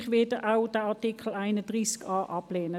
Ich werde den Artikel 31a ablehnen.